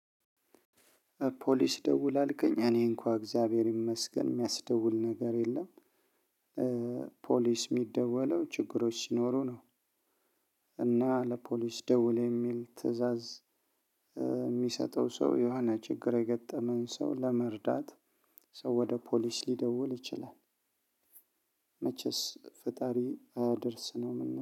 ፖሊስ ደውል አልከኝ እኔ እንኳን እግዚአብሔር ይመስገን የሚያስደውል ነገር የለም። ፖሊስ የሚደወለው ችግሮች ሲኖሩ ነው። እና ለፖሊስ ደውል የሚል ትእዛዝ። የሚሰጠው ሰው የሆነ ችግር የገጠመን ሰው ለመርዳት። ሰው ወደ ፖሊስ ሊደውል ይችላል። መቼስ ፈጣሪ አያድርስ ነው እምለው